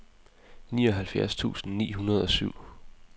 nioghalvfjerds tusind ni hundrede og syv